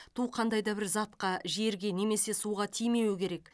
ту қандай да бір затқа жерге немесе суға тимеуі керек